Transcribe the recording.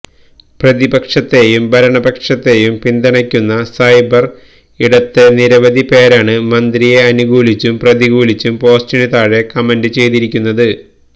പ്രതിപക്ഷത്തെയും ഭരണപക്ഷത്തെയും പിന്തുണക്കുന്ന സൈബർ ഇടത്തെ നിരവധി പേരാണ് മന്ത്രിയെ അനുകൂലിച്ചും പ്രതികൂലിച്ചും പോസ്റ്റിന് താഴെ കമന്റ് ചെയ്തിരിക്കുന്നത്